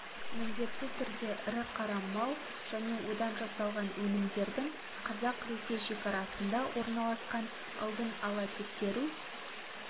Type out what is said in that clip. міндетті түрде ірі қара мал және одан жасалған өнімдердің қазақ-ресей шекарасында орналасқан алдын ала тексеру